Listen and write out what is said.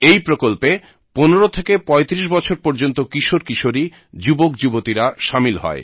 এই প্রকল্পে 15 থেকে 35 বছর পর্যন্ত কিশোর কিশোরী যুবকযুবতীরা শামিল হয়